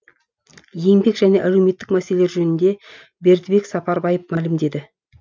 еңбек және әлеуметтік мәселелер жөнінде бердібек сапарбаев мәлімдеді